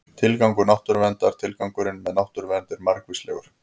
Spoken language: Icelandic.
Tilgangur náttúruverndar Tilgangurinn með náttúruvernd er margvíslegur.